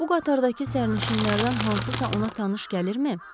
Bu qatardakı sərnişinlərdən hansısa ona tanış gəlirmi?